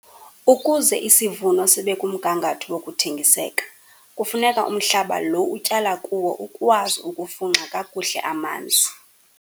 Ukuze isivuno sibe kumgangatho wokuthengiseka kufuneka umhlaba loo utyala kuwo ukwazi ukufunxa kakuhle amanzi.